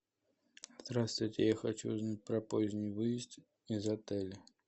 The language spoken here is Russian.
здравствуйте я хочу узнать про поздний выезд из отеля